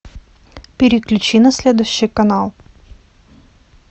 переключи на следующий канал